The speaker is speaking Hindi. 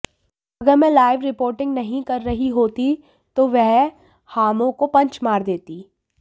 अगर मैं लाइव रिपोर्टिंग नहीं कर रही होती तो वह हामौ को पंच मार देती